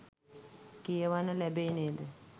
කියවන්න ලැබෙයි නේද?